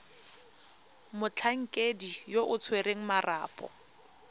motlhankedi yo o tshwereng marapo